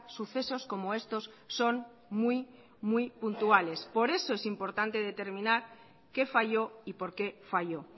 sucesos como estos son muy muy puntuales por eso es importante determinar qué falló y por qué falló